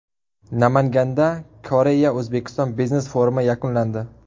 Namanganda KoreyaO‘zbekiston biznes forumi yakunlandi .